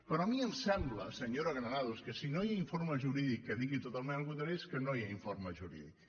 però a mi em sembla senyora granados que si no hi ha informe jurídic que digui totalment el contrari és que no hi ha informe jurídic